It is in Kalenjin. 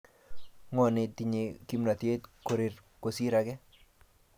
Ngone tinyei kimnatet koreri kosir age?